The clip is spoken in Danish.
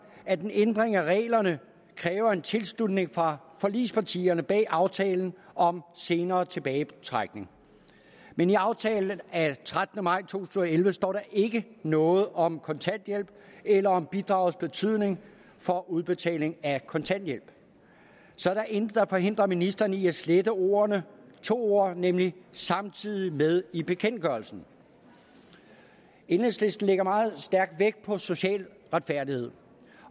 at en ændring af reglerne kræver en tilslutning fra forligspartierne bag aftalen om senere tilbagetrækning men i aftalen af trettende maj to tusind og elleve står der ikke noget om kontanthjælp eller om bidragets betydning for udbetalingen af kontanthjælp så der er intet der forhindrer ministeren i at slette ordene to ord nemlig samtidig med i bekendtgørelsen enhedslisten lægger meget vægt på social retfærdighed